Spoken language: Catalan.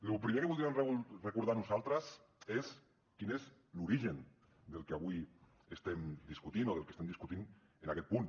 lo primer que voldríem recordar nosaltres és quin és l’origen del que avui estem discutint o del que estem discutint en aquest punt